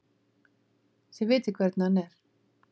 Þið vitið hvernig hann er.